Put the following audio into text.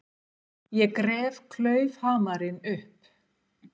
Ég gref klaufhamarinn upp.